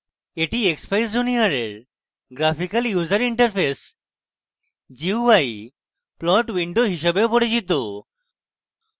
এটি expeyes junior এর graphical user interface gui gui plot window হিসাবেও পরিচিত